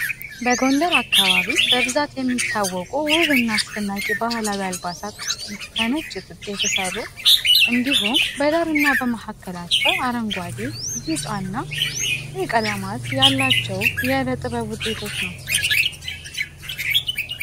በጎንደር አካባቢ በብዛት የሚታወቁ ውብ እና አስደናቂ ባህላዊ አልባሳት ውስጥ ከነጭ ጥጥ የተሰሩ እንዲሁም በዳር እና በመሀከላቸው አረንጓዴ፣ ቢጫ እና ቀይ ቀለማት ያላቸው የዕደጥበብ ውጤቶች ናቸው።